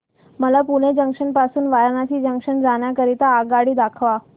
मला पुणे जंक्शन पासून वाराणसी जंक्शन जाण्या करीता आगगाडी दाखवा